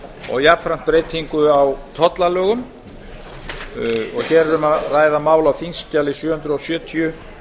og jafnframt breytingu á tollalögum hér er um að ræða mál á þingskjali sjö hundruð sjötíu